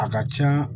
A ka can